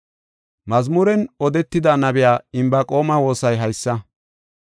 Mazmuren shiqida nabiya Inbaqoome woosay haysa: